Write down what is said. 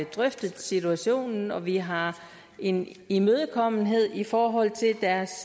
drøftet situationen og vi har en imødekommenhed i forhold til deres